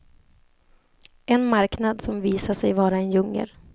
En marknad som visade sig vara en djungel.